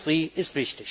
Industrie ist